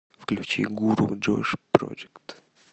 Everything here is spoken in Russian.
включи гуру джош проджект